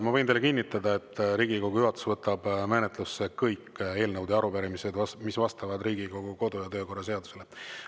Ma võin teile kinnitada, et Riigikogu juhatus võtab menetlusse kõik eelnõud ja arupärimised, mis vastavad Riigikogu kodu- ja töökorra seadusele.